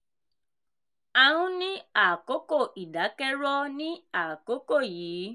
a ń ní àkókò ìdákẹ́rọ̀ ní àkókò yìí".